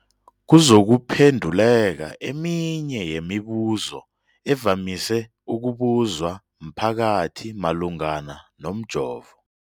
kuzokuphe nduleka eminye yemibu zo evamise ukubuzwa mphakathi malungana nomjovo.